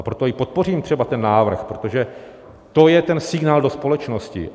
A proto i podpořím třeba ten návrh, protože to je ten signál do společnosti.